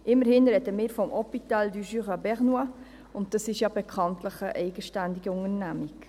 Immerhin sprechen wir vom Hôpital du Jura bernois, und das ist ja bekanntlich eine eigenständige Unternehmung.